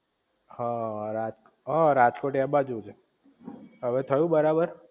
હા રાજ હા રાજકોટ એ બાજુ જ હવે થયું બરાબર